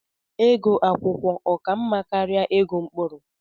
Ego akwụkwọ ọ ka mma karịa ego mkpụrụ?